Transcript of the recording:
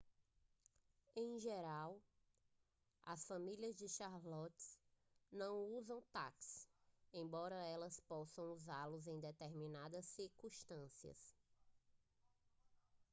em geral as famílias de charlotte não usam táxis embora elas possam usá-los em determinadas circunstâncias